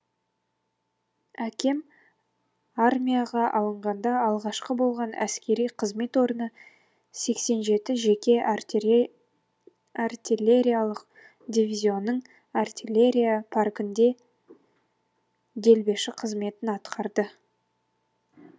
әкем армияға алынғанда алғашқы болған әскери қызмет орны сексен жетінші жеке артиллериялық дивизионның артиллерия паркінде делбеші қызметін атқарады